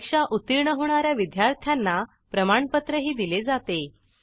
परीक्षा उत्तीर्ण होणा या विद्यार्थ्यांना प्रमाणपत्रही दिले जाते